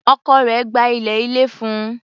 Ọkọ rẹ̀ gba ilé ilẹ̀ fún un.